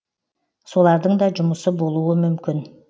солардың да жұмысы болуы мүмкін